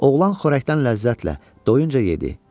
Oğlan xörəkdən ləzzətlə doyuncə yedi.